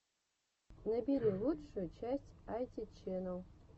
набери лучшую часть айти чэнэл